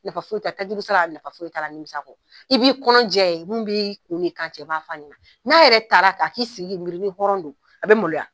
Nafa foyi t'a la, tajuru sara nafafoyi t'a la, nimisa kɔ, i b'i kɔnɔj'a ye mun bi kun ni kan cɛ, i b' a fɔ a ɲɛna, n'a yɛrɛ taara ka i sigi k'i miiri ni hɔrɔn don a bɛ maloya.